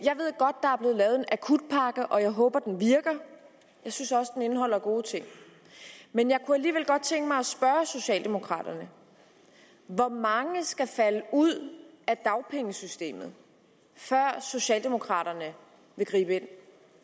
lavet en akutpakke og jeg håber at den virker jeg synes også at den indeholder gode ting men jeg kunne alligevel godt tænke mig at spørge socialdemokraterne hvor mange skal falde ud af dagpengesystemet før socialdemokraterne vil gribe